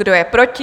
Kdo je proti?